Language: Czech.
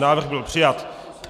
Návrh byl přijat.